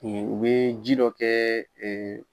U bɛ ji dɔ kɛ